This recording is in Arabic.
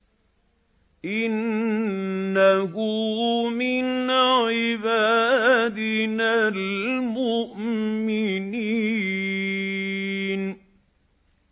إِنَّهُ مِنْ عِبَادِنَا الْمُؤْمِنِينَ